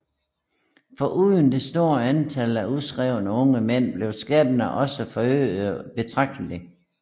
Foruden det store antal af udskrevne unge mænd blev skatterne også forøgede betragteligt